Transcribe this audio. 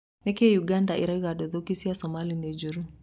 Nĩkĩĩ Ũganda ĩrauga nduthũki cia Somalia nĩ njũru?